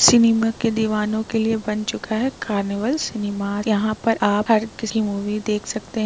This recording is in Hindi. सिनेमा के दिवानो के लिए बन चुका है कार्निवल सिनेमा । यहाँ पर आप हर किसी मूवी देख सकते हैं।